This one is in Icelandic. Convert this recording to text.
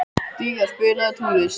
Día, spilaðu tónlist.